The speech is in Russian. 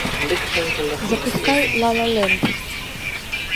запускай ла ла ленд